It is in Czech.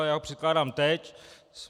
Ale já ho předkládám teď.